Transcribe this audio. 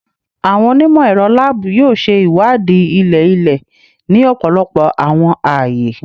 Awọn onimọ-ẹrọ laabu yoo ṣe iwadii ilẹ-ilẹ ni ọpọlọpọ awọn aaye